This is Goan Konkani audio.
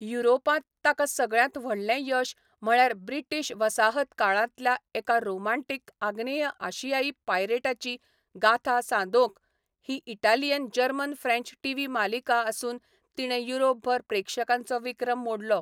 युरोपांत ताका सगळ्यांत व्हडलें यश म्हळ्यार ब्रिटीश वसाहतकाळांतल्या एका रोमान्टिक आग्नेय आशियाई पायरेटाची गाथा सांदोकन ही इटालियन जर्मन फ्रेंच टीव्ही मालिका आसून तिणें युरोपभर प्रेक्षकांचो विक्रम मोडलो.